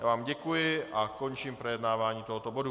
Já vám děkuji a končím projednávání tohoto bodu.